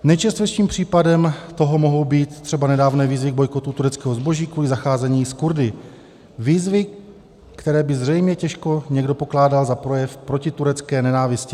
Nejčerstvějším případem toho mohou být třeba nedávné výzvy k bojkotu tureckého zboží kvůli zacházení s Kurdy - výzvy, které by zřejmě těžko někdo pokládal za projev protiturecké nenávisti.